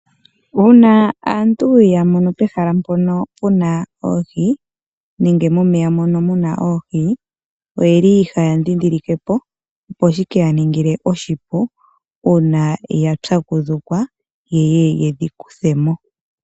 Uuna aantu yamono pehala mpo puna Oohi nenge momeya mono muna oohi, oyeli haya ndhindhilikepo opo shi keyaningile oshipu uuna ya pyakudhukwa yo yeye yedhi kuthemo.